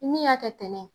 Ni min y'a kɛ tɛnɛ